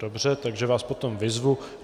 Dobře, takže vás potom vyzvu.